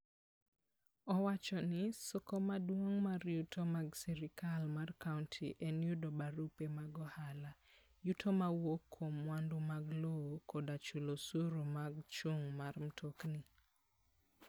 Owacho ni, "soko maduong' mar yuto mag sirkal mar kaunti en yudo barupe mag ohala, yuto mawuok kuom mwandu mag lowo, koda chulo osuru mar chung' mar mtokni.